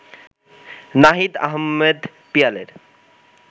Nahid Ahmed পিয়ালের